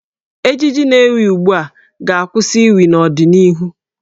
Ejiji na-ewi ugbu a ga-akwụsị iwi n'ọdịnihu.